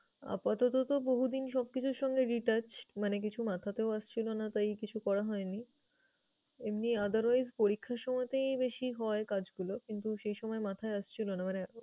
আপাতত তো বহুদিন সবকিছুর সঙ্গে detached মানে কিছু মাথাতেও আসছিল না, তাই কিছু করা হয়নি। এমনি otherwise পরীক্ষার সময়তেই বেশি হয় কাজগুলো কিন্তু সেই সময় মাথায় আসছিল না। মানে